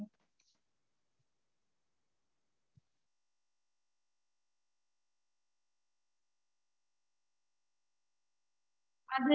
ஆஹ் okay mam so idli, puri, pongal, puri என்ன mam kurma மாதிரி வேணுமா இல்ல potato இது potato gravy மாதிரி வேணுமா?